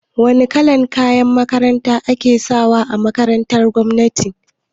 Wane kalan kayan makaranta ake sawa a makarantar gwamnati?